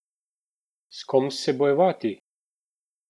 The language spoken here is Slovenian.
S kom se bojevati?